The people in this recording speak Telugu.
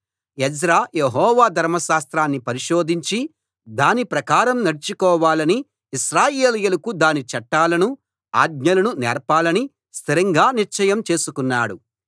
ఎజ్రా యెహోవా ధర్మశాస్త్రాన్ని పరిశోధించి దాని ప్రకారం నడుచుకోవాలని ఇశ్రాయేలీయులకు దాని చట్టాలను ఆజ్ఞలను నేర్పాలని స్థిరంగా నిశ్చయం చేసుకున్నాడు